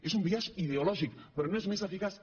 és un biaix ideològic però no és més eficaç